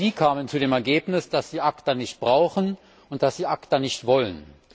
Sie kamen zu dem Ergebnis, dass sie ACTA nicht brauchen und dass sie ACTA nicht wollen.